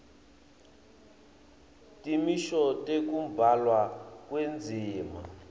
timiso tekubhalwa kwendzima